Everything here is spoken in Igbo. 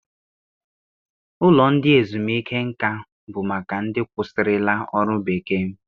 Ụlọ ndị ezumiike nka bụ maka ndị kwụsịrịla ọrụ bekee.